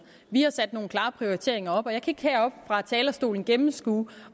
vi har sat nogle klare prioriteringer op og jeg kan ikke heroppe fra talerstolen gennemskue